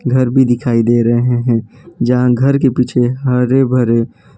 घर भी दिखाई दे रहे हैं जहां घर के पीछे हरे भरे --